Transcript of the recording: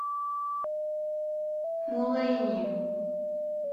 мулэйни